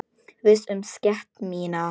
Viss um sekt mína.